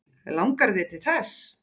Langar þig til þess?